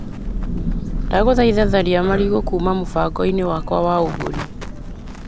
Ndagũthaitha tharia marigũ kuma mũbango-inĩ wakwa wa ũgũri .